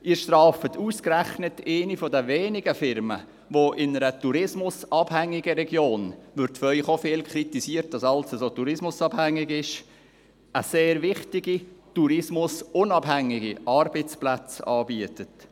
Sie würden ausgerechnet eine der wenigen Firmen strafen, die in einer tourismusabhängigen Region – es wird von Ihnen auch häufig kritisiert, dass alles so tourismusabhängig ist – sehr wichtige, tourismusunabhängige Arbeitsplätze anbietet.